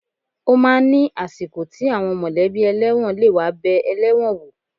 Ó máa ń ni àsìkò tí àwọn mọ̀lẹ́bí ẹlẹ́wọ̀n lè wá bẹẹ ẹlẹ́wọ̀n wò.